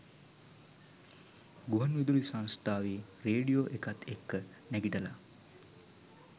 ගුවන් විදුලි සංසථාවේ රේඩියෝ එකත් එක්ක නැගිටලා